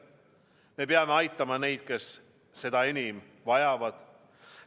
Me peame aitama neid, kes seda enim vajavad.